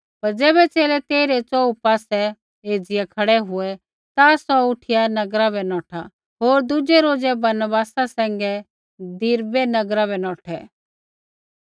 पर ज़ैबै च़ेले तेइरै च़ोहू पासै एज़िया खड़ै हुऐ ता सौ उठिया नगरा बै नौठा होर दुज़ै रोज़ै बरनबासा सैंघै दिरबै नगरा बै नौठा